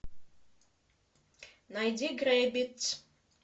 найди грэббитц